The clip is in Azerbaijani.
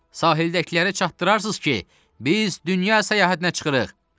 Sahildəkilərə çatdırarsız ki, biz dünya səyahətinə çıxırıq.